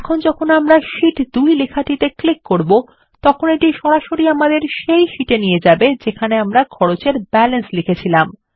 এখন যখন আমরা শীট 2 লেখাটিতে ক্লিক করব তখন এটি সরাসরি আমাদের সেই শীট এ নিয়ে যাবে যেখানে আমরা খরচ এর ব্যালান্স লিখেছি